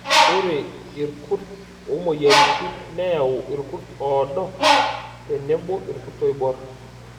Ore irkurt omoyiaritin neyau irkut oodo tenebo irkurt oibor.